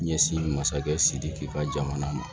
Ɲɛsin masakɛ sidiki ka jamana ma